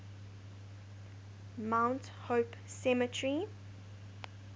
mount hope cemetery